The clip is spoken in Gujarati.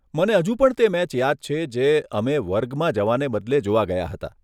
મને હજુ પણ તે મેચ યાદ છે જે અમે વર્ગમાં જવાને બદલે જોવા ગયા હતા.